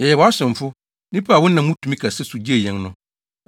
“Yɛyɛ wʼasomfo, nnipa a wonam wo tumi kɛse so gyee yɛn no.